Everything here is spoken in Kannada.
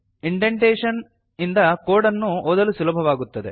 ಇಂಡೆಂಟೇಶನ್ ಇಂದ ಕೋಡ್ ಅನ್ನು ಒದಲು ಸುಲಭವಾಗುತ್ತದೆ